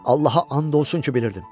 Allaha and olsun ki, bilirdim.